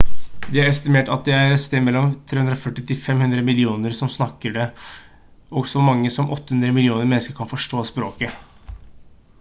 det er estimert at det er et sted mellom 340 til 500 millioner som snakker det og så mange som 800 millioner mennesker kan forstå språket